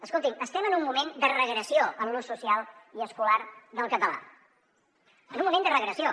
escolti’m estem en un moment de regressió en l’ús social i escolar del català en un moment de regressió